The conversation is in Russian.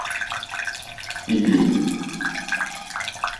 ибинь